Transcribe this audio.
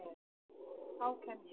Þá kem ég